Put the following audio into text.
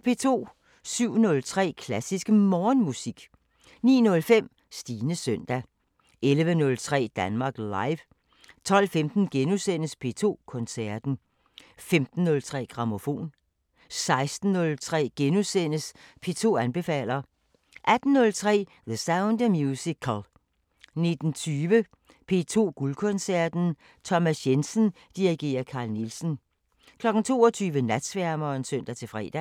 07:03: Klassisk Morgenmusik 09:05: Stines søndag 11:03: Danmark Live 12:15: P2 Koncerten * 15:03: Grammofon 16:03: P2 anbefaler * 18:03: The Sound of Musical 19:20: P2 Guldkoncerten: Thomas Jensen dirigerer Carl Nielsen 22:00: Natsværmeren (søn-fre)